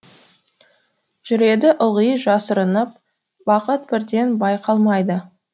жүреді ылғи жасырынып бақыт бірден байқалмайды